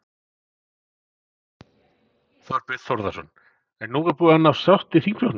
Þorbjörn Þórðarson: En er búin að nást sátt í þingflokknum?